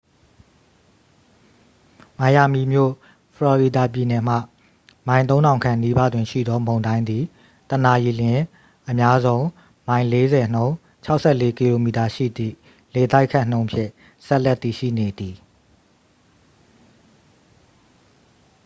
မိုင်ယာမီမြို့၊ ဖလော်ရီဒါပြည်နယ်မှ မိုင် ၃၀၀၀ ခန့်နီးပါးတွင်ရှိသော မုန်တိုင်းသည် တစ်နာရီလျှင် အများဆုံးမိုင် ၄၀ နှုန်း ၆၄ကီလိုမီတာ ရှိသည့် လေတိုက်ခတ်နှုန်းဖြင့် ဆက်လက်တည်ရှိနေသည်။